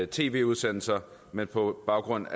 tv udsendelser men på baggrund